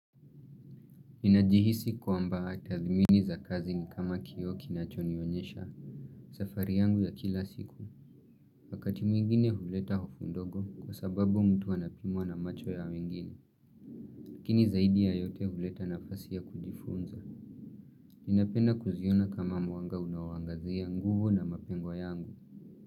Ninajihisi kwaamba tadhimini za kazi ni kama kioo kinacho nionyesha. Safari yangu ya kila siku. Wakati mwingine huleta hofu ndogo kwa sababu mtu anapimwa na macho ya wengine. Lakini zaidi ya yote huleta nafasi ya kujifunza. Ninapenda kuziona kama mwanga unawangazia nguvu na mapengo yangu.